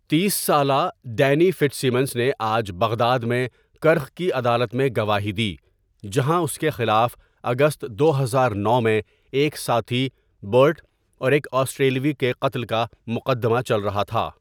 تیس سالہ Danny Fitzsimmons نے آج بغداد میں کرخ کی عدالت میں گواہی دی جہاں اس کے خلاف اگست دو ہزار نو میں ایک ساتھی برٹ اور ایک آسٹریلوی کے قتل کا مقدمہ چل رہا تھا۔